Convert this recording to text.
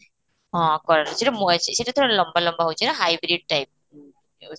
ହଁ କଲରା ସେଇଟା ସେଇଟା ଲମ୍ବା ଲମ୍ବା ହଉଛି ନା hybrid type ହୁଁ